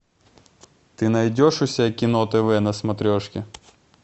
ты найдешь у себя кино тв на смотрешке